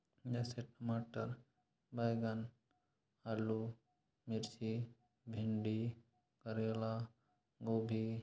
यह सब मटर बैगन आलू मिर्ची भिंडी करेला गोभी--